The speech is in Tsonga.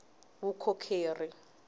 vukorhokeri